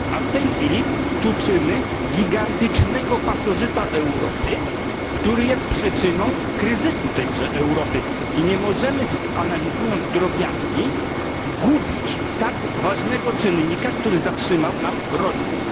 A w tej chwili tuczymy gigantycznego pasożyta Europy, który jest przyczyną kryzysu tejże Europy i nie możemy, analizując drobiazgi, gubić tak ważnego czynnika, który zatrzymał nam rozwój.